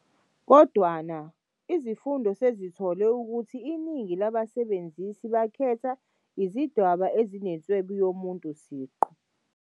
Kodwana, izifundo sezithole ukuthi iningi labasebenzisi bakhetha izidwambu ezinenswebu yomuntu siqu.